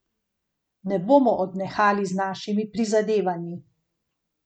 Ne bomo odnehali z našimi prizadevanji.